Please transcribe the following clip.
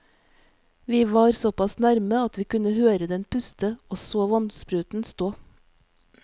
Vi var såpass nærme at vi kunne høre den puste og så vannspruten stå.